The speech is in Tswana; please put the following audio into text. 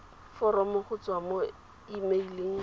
foromo go tswa mo emeileng